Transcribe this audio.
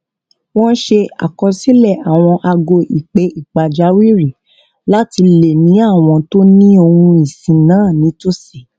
wón ṣe àkọsílè àwọn ago ìpè pàjáwìrì láti lè ní àwọn tó ni ohun ìsìn náà nítòsí